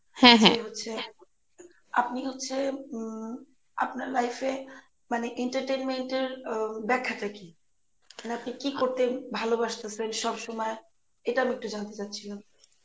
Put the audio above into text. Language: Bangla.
আপনি হচ্ছে উম আপনার life এ মানে entertenment এর উম ব্যাখ্যাটা কি? মানে আপনি কি করতে ভালোবাসতেসেন সবসময় এটা আমি একটু জানতে চাইছিলাম.